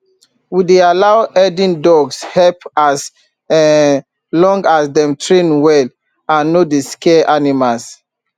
we dey allow herding dogs help as um long as dem train well and no dey scare animals